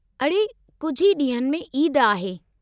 अड़े, कुझु ई ॾींहनि में ईद आहे।